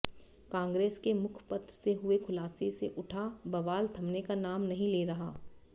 कांग्रेस के मुखपत्र से हुए खुलासे से उठा बवाल थमने का नाम नहीं ले रहा